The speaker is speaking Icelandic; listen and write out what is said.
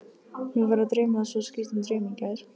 Mig var að dreyma svo skrýtinn draum í gær.